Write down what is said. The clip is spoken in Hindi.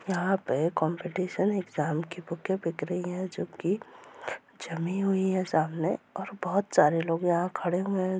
यहाँ पे कंपटीशन एग्जाम की बुके बिक रही है जो की जमी हुई है सामने और बहुत सारे लोग यहाँ खड़े हुए --